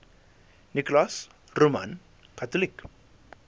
nicholas roman catholic